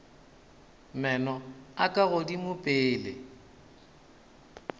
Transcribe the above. meno a ka godimo pele